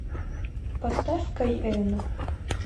поставь кай енэ